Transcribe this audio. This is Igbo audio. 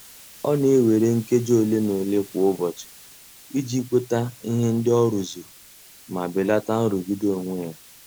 Ọ na-ewere nkeji ole na ole kwa ụbọchị iji kweta ihe ndị ọ rụzuru ma belata nrụgide onwe ya.